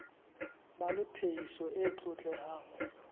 ba le phehiso e tlotlehang